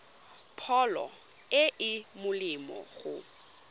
pholo e e molemo go